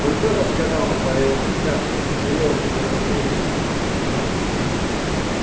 он тоже сказал наполеон счастлив что период недоразумений подошёл к концу